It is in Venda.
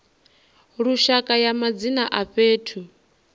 lushaka ya madzina a fhethu